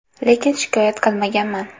Lekin shikoyat qilmaganman.